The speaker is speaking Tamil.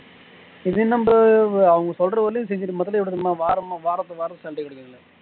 இது நம்ம அவுங்க சொல்றவரையிலும் செஞ்சிட்டு மற்றபடி வாரமா வாரத்துக்கு வாரத்துக்கு salary குடுப்பாங்க